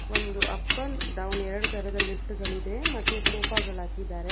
ಒಂದು up and down ಎರಡು ತರದಲ್ಲಿ ಗಿಫ್ಟ್ ಗಳಿವೆ ಮತ್ತು ಸೋಫಾ ಗಳು ಹಾಕಿದ್ದಾರೆ.